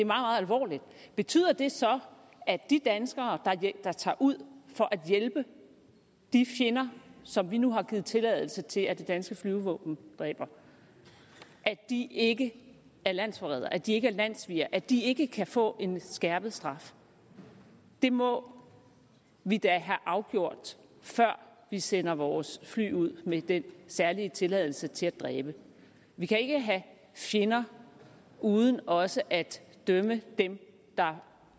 meget alvorligt betyder det så at de danskere der tager ud for at hjælpe de fjender som vi nu har givet tilladelse til at det danske flyvevåben dræber ikke er landsforrædere at de ikke er landssvigere og at de ikke kan få en skærpet straf det må vi da have afgjort før vi sender vores fly ud med den særlige tilladelse til at dræbe vi kan ikke have fjender uden også at dømme dem der